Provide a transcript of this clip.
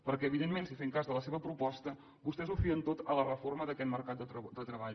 perquè evidentment si fem cas de la seva proposta vostès ho fien tot a la reforma d’aquest mercat de treball